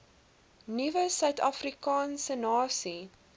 nuwe suidafrikaanse nasie